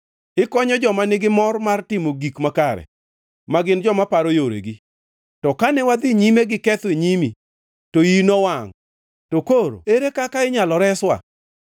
Ikonyo joma nigi mor mar timo gik makare, ma gin joma paro yoregi. To kane wadhi nyime gi ketho e nyimi, to iyi nowangʼ. To koro ere kaka inyalo reswa?